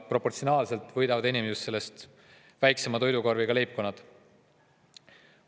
Ja proportsionaalselt võidavad just väiksema toidukorviga leibkonnad.